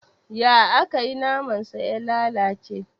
Ya akayi naman sa ya lalace?